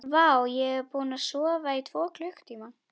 Vá, ég er búinn að sofa í tvo klukkutíma.